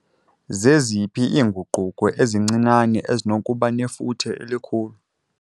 Zeziphi iinguquko ezincinane ezinokuba nefuthe elikhulu?